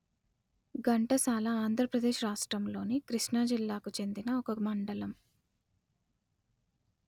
ఘంటసాల ఆంధ్ర ప్రదేశ్ రాష్ట్రములోని కృష్ణా జిల్లాకు చెందిన ఒక మండలము